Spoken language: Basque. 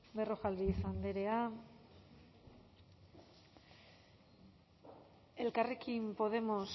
berrojalbiz andrea elkarrekin podemos